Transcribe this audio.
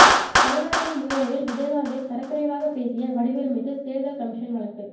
கருணாநிதி முன்னிலையில் விஜயகாந்தை தரக்குறைவாக பேசிய வடிவேல் மீது தேர்தல் கமிஷன் வழக்கு